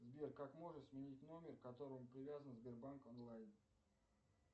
сбер как можно сменить номер к которому привязан сбербанк онлайн